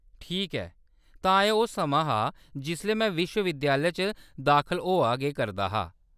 ठीक ऐ, तां एह्‌‌ ओह्‌‌ समां हा जिसलै मैं विश्व-विद्यालय च दाखल होआ गै करदा हा।